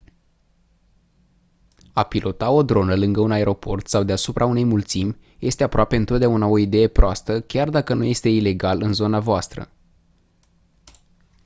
a pilota o dronă lângă un aeroport sau deasupra unei mulțimi este aproape întotdeauna o idee proastă chiar dacă nu este ilegal în zona voastră